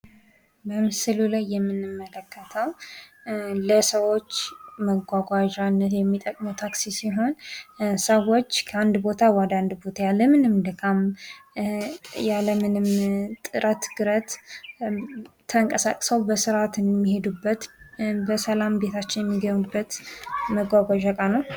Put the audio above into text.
በምስሉ ላይ የምንመለከተው ለሰዎች መጓጓዣነት የሚጠቅመው ታክሲ ሲሆን ሰዎች ከአንድ ቦታ ወደሌላ ቦታ ያለምንም ድካም ያለምንም ጥረት ግረት ተንቀሳቅሰው በስራት የሚሄዱበት በሰላም ቤታቸው የሚገቡበት መጓጓዣ እቃ ነው።